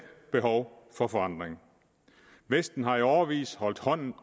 behov for forandring vesten har i årevis holdt hånden